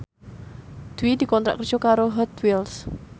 Dwi dikontrak kerja karo Hot Wheels